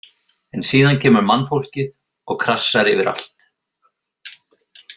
En síðan kemur mannfólkið og krassar yfir allt.